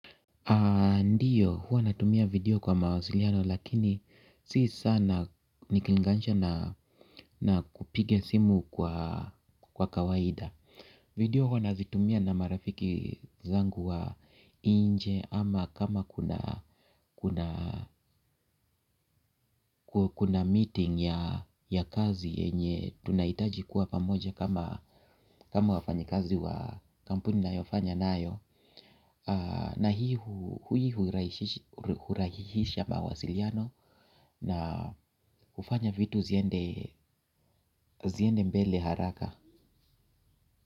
Ndiyo huwa natumia video kwa mawasiliano lakini si sana niklinganisha na kupiga simu kwa kawaida. Video huwa nazitumia na marafiki zangu wa inje ama kama kuna meeting ya ya kazi yenye tunaitaji kuwa pamoja kama wafanyikazi wa kampuni nayofanya nayo. Na hiyo hurahisisha mawasiliano na kufanya vitu ziende mbele haraka.